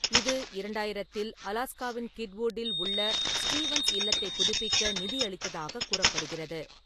இது, இரண்டாயிரத்தில் அலாஸ்காவின் கிட்வுட்டில் உள்ள ஸ்டீவன்ஸ் இல்லத்தைப் புதுப்பிக்க நிதியளித்ததாகக் கூறப்படுகிறது.